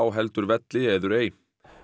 heldur velli eður ei